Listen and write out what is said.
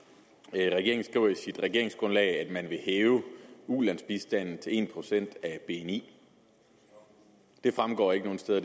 regeringen skriver i sit regeringsgrundlag at man vil hæve ulandsbistanden til en procent af bni det fremgår ikke nogen steder